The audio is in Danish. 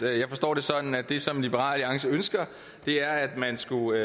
jeg forstår det sådan at det som liberal alliance ønsker er at man skulle have